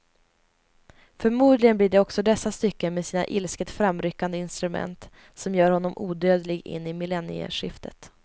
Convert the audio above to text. Förmodligen blir det också dessa stycken med sina ilsket framryckande instrument som gör honom odödlig in i millennieskiftet.